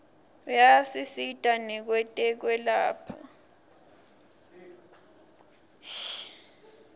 ayasisita nakwetekwelapha